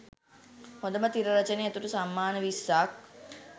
හොඳම තිර රචනය ඇතුළු සම්මාන විස්සක්